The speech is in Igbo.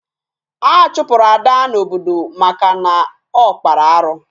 A chụpụrụ Ada n'obodo maka na ọ kpara arụ